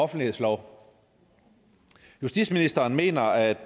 offentlighedslov justitsministeren mener at